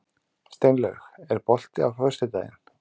Steinlaug, er bolti á föstudaginn?